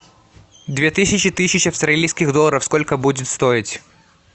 две тысячи тысяча австралийских долларов сколько будет стоить